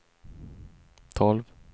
tolv